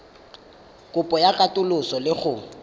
kopo ya katoloso le go